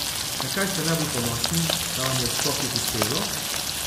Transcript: Na kaj ste najbolj ponosni, da vam je v skokih uspelo?